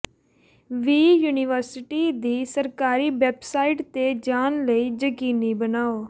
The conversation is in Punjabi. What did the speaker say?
ਵੀ ਯੂਨੀਵਰਸਿਟੀ ਦੀ ਸਰਕਾਰੀ ਵੈਬਸਾਈਟ ਤੇ ਜਾਣ ਲਈ ਯਕੀਨੀ ਬਣਾਓ